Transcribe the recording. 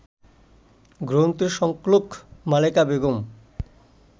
গ্রন্থের সংকলক মালেকা বেগম